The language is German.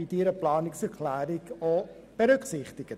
Sie wären somit ebenfalls betroffen.